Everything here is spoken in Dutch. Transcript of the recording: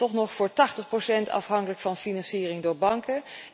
Dat is nog voor 80 procent afhankelijk van financiering door banken.